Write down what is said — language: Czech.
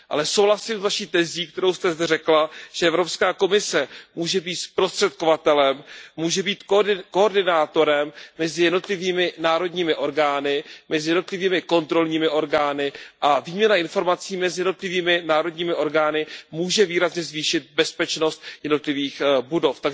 Ale souhlasím s Vaší tezí, kterou jste zde řekla, že Evropská komise může být zprostředkovatelem, může být koordinátorem mezi jednotlivými národními orgány, mezi jednotlivými kontrolními orgány a výměna informací mezi jednotlivými národními orgány může výrazně zvýšit bezpečnost jednotlivých budov.